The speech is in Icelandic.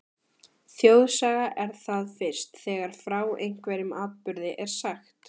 Þjóðsaga er það fyrst, þegar frá einhverjum atburði er sagt.